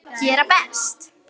Gera best.